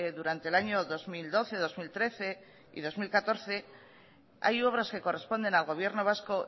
durante el año dos mil doce dos mil trece y dos mil catorce hay obras que corresponden al gobierno vasco